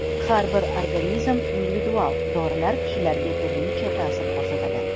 Har bir organizm individual, dorilar kishilarga turlicha ta’sir ko‘rsatadi.